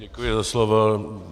Děkuji za slovo.